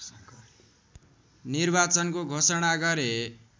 निर्वाचनको घोषणा गरे